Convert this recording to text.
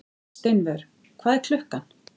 Steinvör, hvað er klukkan?